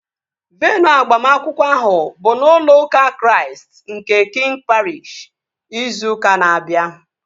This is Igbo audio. Veenụ agbamakwụkwọ ahụ bụ n'ụlọ ụka Chraist nke Kiing Pariish, ịzụ ụka na-abia